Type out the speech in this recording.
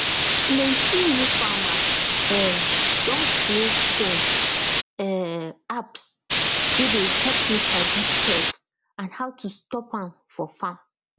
plenty new farmers um don create phone um apps wey dey help you sabi pest and how to stop am for farm